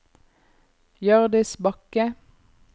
Hjørdis Bakke